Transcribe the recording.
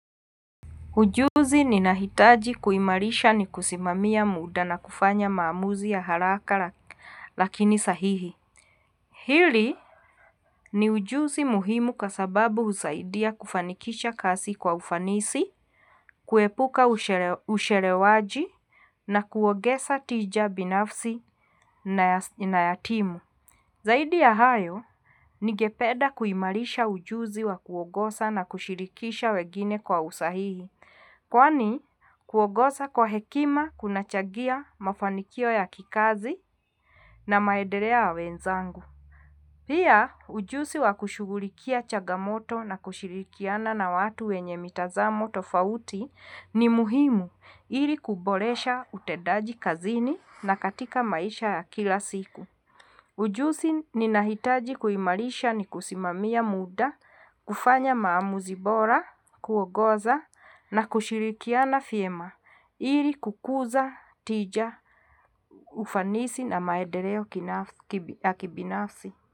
Ujuzi ninahitaji kuimarisha ni kusimamiya muda na kufanya maamuzi ya harakala, lakini sahihi. Hili, ni ujuzi muhimu kwasababu husaidia kufanikisha kasi kwa ufanisi, kwepuka ushere usherewaji, na kuwogesa tija binafsi na ye na yatimu. Zaidi ya hayo, nigepeda kuimalisha ujuzi wa kuwogosa na kushirikisha wegine kwa usahihi. Kwani, kuogosa kwa hekima kunachagia mafanikio ya kikazi, na maederea ya wenzangu. Pia, ujuzi wa kushugulikia chagamoto na kushirikiana na watu we wenye mitazamo tofauti, ni muhimu, ili kubolesha utedaji kazini na katika maisha ya kila siku. Ujuzi ni niniitaji kuimalisha ni kusimamia muda, kufanya maamuzi bora, kugoza, na kushirikiana fiema, ili kukuza tija ufanisi na maedereo kinafsi kibi ya kibinafsi.